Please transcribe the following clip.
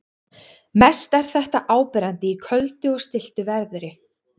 Mest er þetta áberandi í köldu og stilltu veðri.